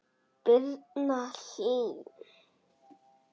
Birna Hlín.